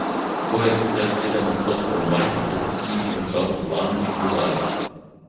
To je sicer sedem odstotkov manj kot v istem času lani, so dodali.